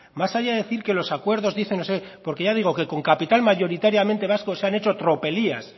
más allá de decir que los acuerdos dicen no sé qué porque ya digo que con capital mayoritariamente vasco se han hecho tropelías